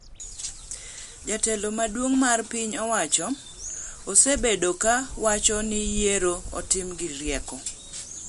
Jatelo maduong’ mar piny owacho osebedo ka wacho ni yierono otim gi rieko.